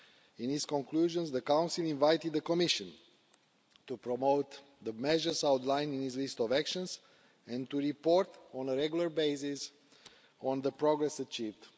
In its conclusions the Council invited the Commission to promote the measures outlined in this list of actions and to report on a regular basis on the progress achieved.